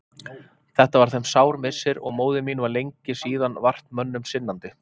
Þetta var þeim sár missir og móðir mín var lengi síðan vart mönnum sinnandi.